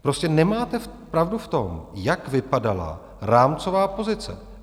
Prostě nemáte pravdu v tom, jak vypadala rámcová pozice.